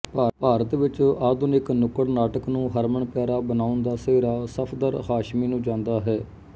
ਭਾਰਤ ਵਿੱਚ ਆਧੁਨਿਕ ਨੁੱਕੜ ਨਾਟਕ ਨੂੰ ਹਰਮਨਪਿਆਰਾ ਬਣਾਉਣ ਦਾ ਸਿਹਰਾ ਸਫਦਰ ਹਾਸ਼ਮੀ ਨੂੰ ਜਾਂਦਾ ਹੈ